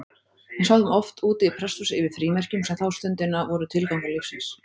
Við sátum oft úti í prestshúsi yfir frímerkjum, sem þá stundina voru tilgangur lífsins.